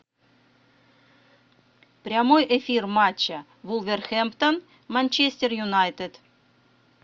прямой эфир матча вулверхэмптон манчестер юнайтед